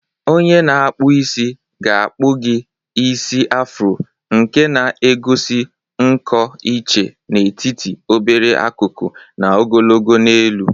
Onye na-akpụ isi ga-akpu gi isi Afro, nke na egosi nkọ iche n'etiti obere akụkụ na ogologo n'elu.